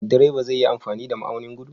Direba zai yi amfani da ma'aunin gudu?